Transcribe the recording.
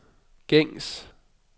gængs